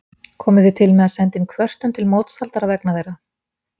Komið þið til með að senda inn kvörtun til mótshaldara vegna þeirra?